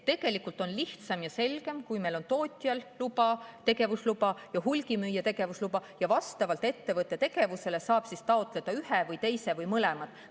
Tegelikult on lihtsam ja selgem, kui meil on tootjal tegevusluba ja hulgimüüjal tegevusluba ning vastavalt ettevõtte tegevusele saab taotleda ühe või teise või mõlemad.